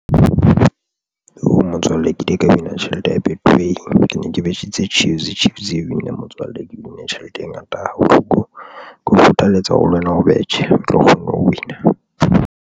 Ooh! motswalle ke ile ka win-a tjhelete ya betway ke ne ke betjhitse Chiefs. Chiefs ya win-a motswalle ke win-a tjhelete e ngata ha bohloko ke o kgothaletsa hore le wena o betjhe o tlo kgona ho win-a.